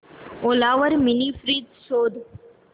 ओला वर mini fridge शोध